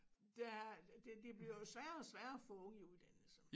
Der det det bliver jo sværere og sværere at få unge i uddannelse